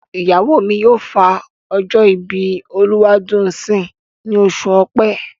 Ìyàwó mi yóò fa ọjọ́ ìbí Olúwadùnńsìn ní oṣù Ọ̀pẹ.